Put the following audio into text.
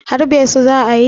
harbe su za a yi?